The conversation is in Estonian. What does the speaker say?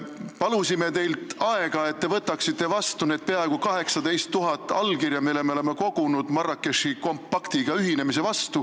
Palusime teilt aega, et te võtaksite vastu need peaaegu 18 000 allkirja, mille me oleme kogunud Marrakechi kompaktiga ühinemise vastu.